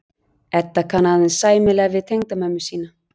Edda kann aðeins sæmilega við tengdamömmu sína.